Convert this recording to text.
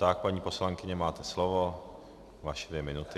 Tak, paní poslankyně, máte slovo, vaše dvě minuty.